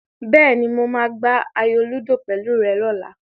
Bẹ́ẹ̀ni, mo máa gbá ayò lúdò pẹ̀lú rẹ lọ́la.